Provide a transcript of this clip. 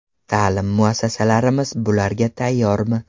Ta’lim muassasalarimiz bularga tayyormi?